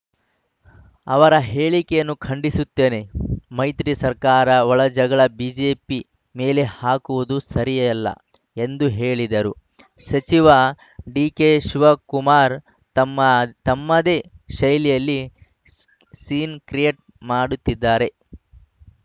ಅವರ ಹೇಳಿಕೆಯನ್ನು ಖಂಡಿಸುತ್ತೇನೆ ಮೈತ್ರಿ ಸರ್ಕಾರದ ಒಳಜಗಳ ಬಿಜೆಪಿ ಮೇಲೆ ಹಾಕುವುದು ಸರಿಯಲ್ಲ ಎಂದು ಹೇಳಿದರು ಸಚಿವ ಡಿಕೆಶಿವ ಕುಮಾರ್‌ ತಮ್ಮ ತಮ್ಮದೇ ಶೈಲಿಯಲ್ಲಿ ಸೀ ಸೀನ್‌ ಕ್ರಿಯೇಟ್‌ ಮಾಡುತ್ತಿದ್ದಾರೆ